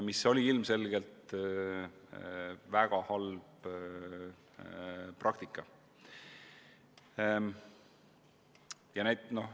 See oli ilmselgelt väga halb praktika.